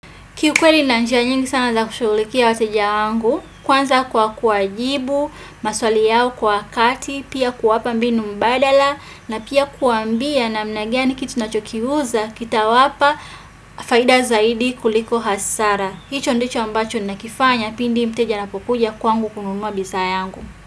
Kiukweli nina njia nyingi sana za kushulikia wateja wangu, kwanza kwa kuwajibu, maswali yao kwa wakati, pia kuwapa mbinu mbadala, na pia kuwambia namna gani kitu nachokiuza, kitawapa, faida zaidi kuliko hasara. Hicho ndicho ambacho nina kifanya, pindi mteja anapokuja kwangu kununua bizayangu.